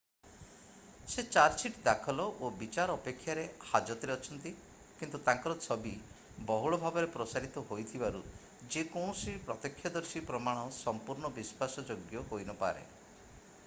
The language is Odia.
ସେ ଚାର୍ଜସିଟ୍ ଦାଖଲ ଓ ବିଚାର ଅପେକ୍ଷାରେ ହାଜତରେ ଅଛନ୍ତି କିନ୍ତୁ ତାଙ୍କର ଛବି ବହୁଳ ଭାବରେ ପ୍ରସାରିତ ହୋଇଥିବାରୁ ଯେ କୌଣସି ପ୍ରତ୍ୟକ୍ଷଦର୍ଶୀ ପ୍ରମାଣ ସମ୍ପୂର୍ଣ୍ଣ ବିଶ୍ୱାସଯୋଗ୍ୟ ହୋଇନପାରେ